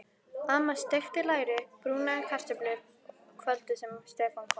Amma steikti læri og brúnaði kartöflur kvöldið sem Stefán kom.